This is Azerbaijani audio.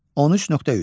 13.3.